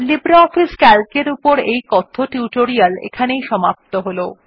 LibreOffice C A L C এর উপর এই কথ্য টিউটোরিয়াল টির এখানেই সমাপ্তি হল